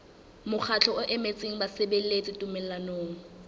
mokgatlo o emetseng basebeletsi tumellanong